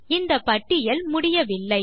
இந்த பட்டியல் முடியவில்லை